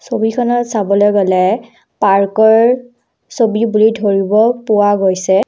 ছবিখনত চাবলৈ গ'লে পাৰ্কৰ ছবি বুলি ধৰিব পোৱা গৈছে।